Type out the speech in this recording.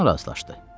Sıçan razılaşdı.